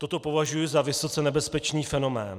Toto považuji za vysoce nebezpečný fenomén.